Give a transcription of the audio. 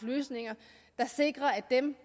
løsninger der sikrer at dem